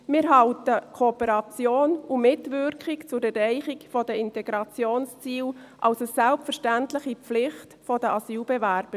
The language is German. Wir halten Kooperation und Mitwirkung zur Erreichung der Integrationsziele für eine selbstverständliche Pflicht der Asylbewerber.